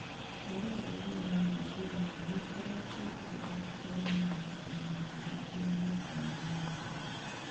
Rũteere rwa iria rwa Ningeria nĩũkoretwo ũkĩtharĩkĩrwo mũno mwakainĩ wa ngiri igĩrĩ na ikũmi na ĩnyanya.